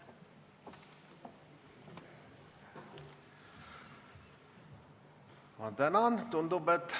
Ma tänan!